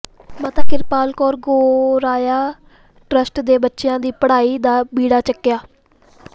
ਮਾਤਾ ਕ੍ਰਿਪਾਲ ਕੌਰ ਗੋਰਾਇਆ ਟਰੱਸਟ ਨੇ ਬੱਚਿਆਂ ਦੀ ਪੜ੍ਹਾਈ ਦਾ ਬੀੜਾ ਚੁੱਕਿਆ